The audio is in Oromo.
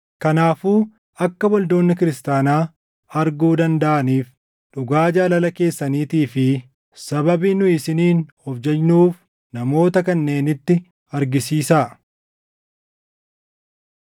Kanaafuu akka waldoonni kiristaanaa arguu dandaʼaniif dhugaa jaalala keessaniitii fi sababii nu isiniin of jajnuuf namoota kanneenitti argisiisaa.